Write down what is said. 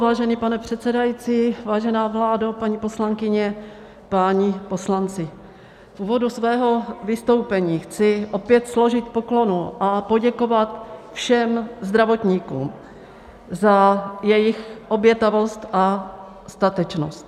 Vážený pane předsedající, vážená vládo, paní poslankyně, páni poslanci, v úvodu svého vystoupení chci opět složit poklonu a poděkovat všem zdravotníkům za jejich obětavost a statečnost.